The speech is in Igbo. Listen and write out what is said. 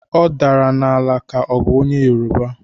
Ọ daram n"ala ka ọ bụ onye yeroba.